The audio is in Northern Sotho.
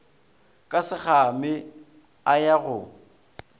ka sekgame a ya go